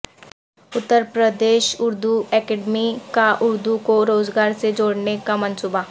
Uttar Pradesh Urdu academy کا اردو کو روزگار سے جوڑنے کا منصوبہ